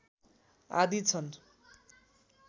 आदि छन्